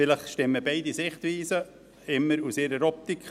– Vielleicht stimmen beide Sichtweisen, immer aus der jeweiligen Optik.